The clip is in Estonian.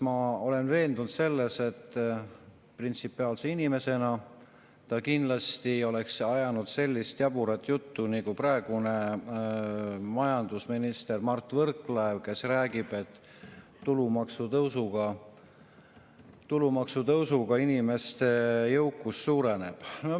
Ma olen veendunud selles, et printsipiaalse inimesena ta kindlasti ei oleks ajanud sellist jaburat juttu, nagu praegune minister Mart Võrklaev räägib, et tulumaksutõusuga inimeste jõukus suureneb.